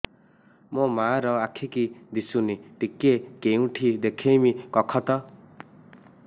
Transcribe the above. ମୋ ମା ର ଆଖି କି ଦିସୁନି ଟିକେ କେଉଁଠି ଦେଖେଇମି କଖତ